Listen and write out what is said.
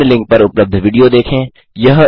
निम्न लिंक पर उपलब्ध विडियो देखें